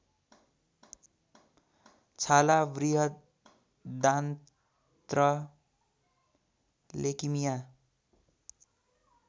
छाला बृहदान्त्र लेकिमिया